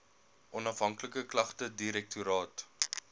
onafhanklike klagtedirektoraat